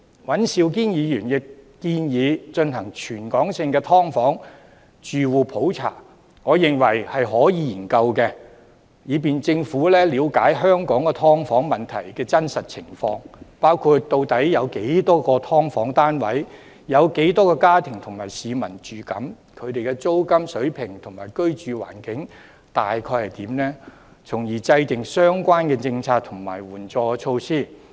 尹兆堅議員亦建議進行全港性"劏房"住戶普查，我認為可以研究，以便政府了解香港"劏房"問題的真實情況，包括"劏房"單位數目、住戶數目和居住人口，以及"劏房"的租金水平和居住環境的概況，從而制訂相關政策和援助措施。